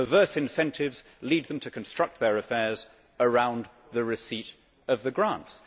Perverse incentives lead them to construct their affairs around the receipt of the grants.